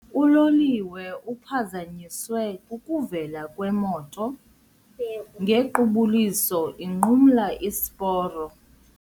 Uloliwe uphazanyiswe kukuvela kwemoto ngequbuliso inqumla isiporo.